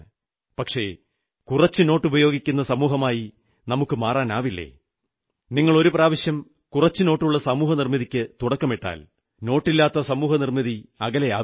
പക്ഷേ കുറച്ച് നോട്ടുപയോഗിക്കുന്ന സമൂഹമായി നമുക്കു മാറാനാവില്ലേ നിങ്ങൾ ഒരുപ്രാവശ്യം കുറച്ചുനോട്ടുള്ള സമൂഹനിർമ്മിതിക്കു തുടക്കമിട്ടാൽ നോട്ടില്ലാത്ത സമൂഹനിർമ്മിതി അകലെയാവില്ല